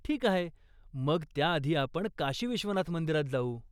ठीक आहे, मग त्याआधी आपण काशी विश्वनाथ मंदिरात जाऊ.